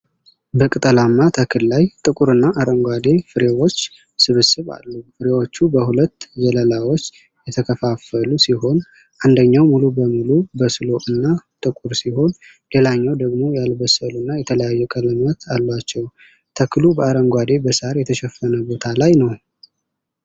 በቅጠላማ ተክል ላይ ጥቁር እና አረንጓዴ ፍሬዎች ስብስብ አሉ። ፍሬዎቹ በሁለት ዘለላዎች የተከፋፈሉ ሲሆን አንደኛው ሙሉ በሙሉ በሰሉ እና ጥቁር ሲሆን ሌላኛው ደግሞ ያልበሰሉና የተለያዩ ቀለማት አሏቸው። ተክሉ በአረንጓዴ በሳር የተሸፈነ ቦታ ላይ ነው።